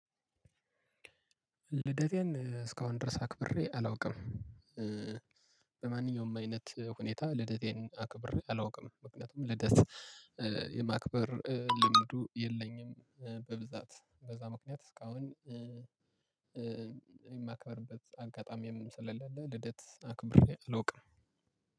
ልደቴን እስካሁን ድረስ አክብሬ አላውቅም። በማንኛውም አይነት ሁኔታ ልደቴን አክብሬ አላውቅም ምክንያቱም ልደት የማክብር ልምዱ የለኝም። በብዛት በዛ ምክንያት እስካሁን የማከብርበት አጋጣሚም ስለሌለ። ልደት አክብሬ አላውቅም።